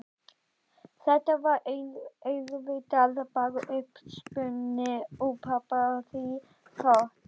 Þetta var auðvitað bara uppspuni úr pabba því þótt